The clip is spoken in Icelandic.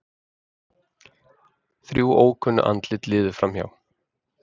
Þrjú ókunn andlit liðu framhjá.